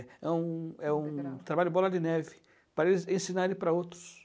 É um é um trabalho bola de neve, para eles ensinarem para outros.